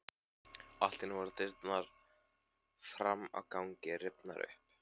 Allt í einu voru dyrnar fram á ganginn rifnar upp.